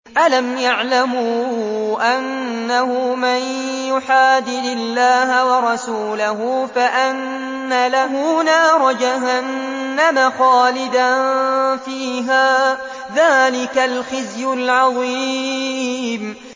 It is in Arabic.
أَلَمْ يَعْلَمُوا أَنَّهُ مَن يُحَادِدِ اللَّهَ وَرَسُولَهُ فَأَنَّ لَهُ نَارَ جَهَنَّمَ خَالِدًا فِيهَا ۚ ذَٰلِكَ الْخِزْيُ الْعَظِيمُ